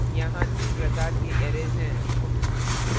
यहाँ तीन प्रकार के arrays हैं :